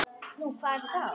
Nú, hvað er þetta þá?